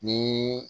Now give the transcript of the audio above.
Ni